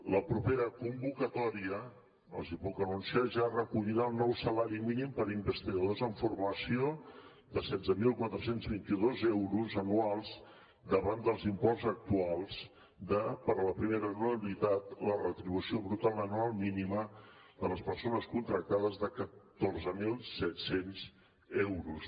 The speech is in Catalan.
la propera convocatòria els hi puc anunciar ja recollirà el nou salari mínim per a investigadors en formació de setze mil quatre cents i vint dos euros anuals davant dels imports actuals de per a la primera anualitat una retribució bruta anual mínima de les persones contractades de catorze mil set cents euros